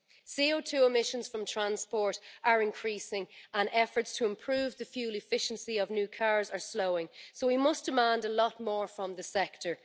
CO2 emissions from transport are increasing and efforts to improve the fuel efficiency of new cars are slowing so we must demand a lot more from the sector.